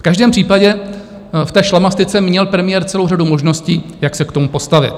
V každém případě v té šlamastyce měl premiér celou řadu možností, jak se k tomu postavit.